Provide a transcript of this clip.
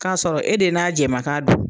K'a sɔrɔ e de n'a jɛma kan don